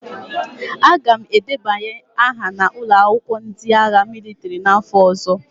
Aga m edebanye aha na ụlọ akwụkwọ ndị agha mịlịtrị n'afọ ọzọ.